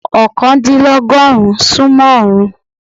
oókàndílọ́gọ́rùn-ún sún mọ́ ọọ́rùn-ún.